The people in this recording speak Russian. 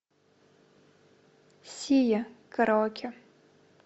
сия караоке